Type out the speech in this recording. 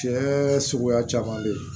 Tiɲɛ suguya caman be ye